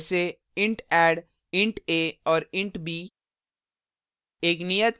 जैसे; int add int a और int b